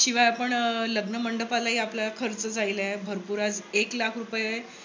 शिवाय आपण लग्न मंडपालाही आपल्याला खर्च आहे भरपूर आहेत. एक लाख रुपये